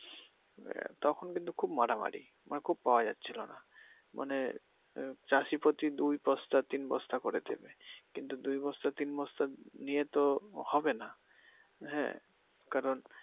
তখন কিন্তু খুব মারামারি মানে খুব পাওয়া যাচ্ছিলো নাহ মানে চাষি প্রতি দুই বস্তা তিন বস্তা করে দিবে কিন্তু দুই বস্তা তিন বস্তা দিয়ে তো হবে নাহ হ্যাঁ কারন